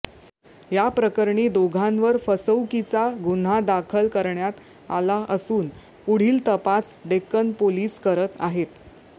याप्रकरणी दोघांवर फसवुकीचा गुन्हा दाखल करण्यात आला असून पुढील तपास डेक्कन पोलीस करत आहेत